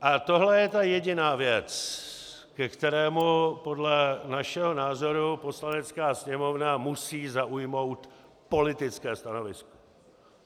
A tohle je ta jediná věc, ke které podle našeho názoru Poslanecká sněmovna musí zaujmout politické stanovisko.